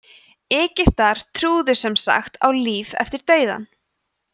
egyptar trúðu sem sagt á líf eftir dauðann